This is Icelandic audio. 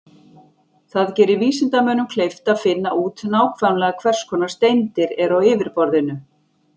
Það gerir vísindamönnum kleift að finna út nákvæmlega hvers konar steindir eru á yfirborðinu.